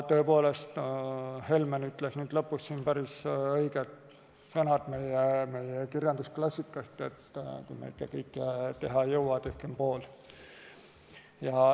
Tõepoolest, Helmen kasutas lõpus päris õigeid sõnu meie kirjandusklassikast, et kui me ikka kõike teha ei jõua, tehkem pool.